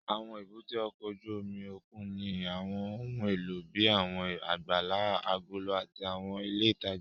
Àwọn èbúté ọkọ̀ ojú omi òkun ní àwọn ohun èlò bíi àwọn àgbàlá agolo àti àwọn ilé ìtajà